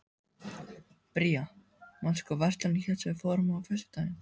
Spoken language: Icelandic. Bría, manstu hvað verslunin hét sem við fórum í á föstudaginn?